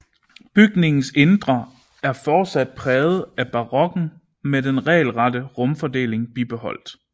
Bygningens indre er fortsat præget af barokken med den regelrette rumfordeling bibeholdt